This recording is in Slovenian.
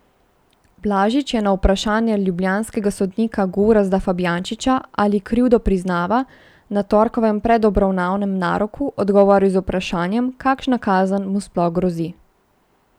Blažič je na vprašanje ljubljanskega sodnika Gorazda Fabjančiča, ali krivdo priznava, na torkovem predobravnavnem naroku odgovoril z vprašanjem, kakšna kazen mu sploh grozi.